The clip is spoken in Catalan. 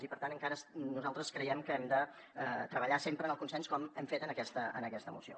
i per tant encara nosaltres creiem que hem de treballar sempre en el consens com hem fet en aquesta moció